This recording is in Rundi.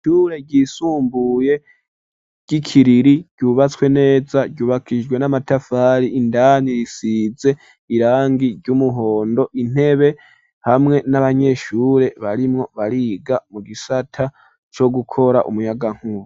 Ishure ryisumbuye ry'Ikiriri ryubatswe neza ryubakishijwe n'amatafari ,indani risize irangi ry'umuhondo, intebe hamwe n'abanyeshure barimwo bariga mu gisata co gukora umuyagankumba.